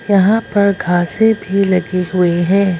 यहां पर घासे भी लगी हुईं हैं।